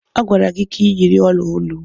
A gwara gị si gi yiri ọla olu.